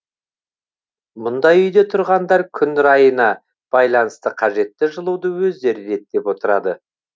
мұндай үйде тұрғындар күн райына байланысты қажетті жылуды өздері реттеп отырады